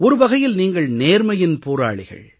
ஒரு வகையில் நீங்கள் நேர்மையின் போராளிகள்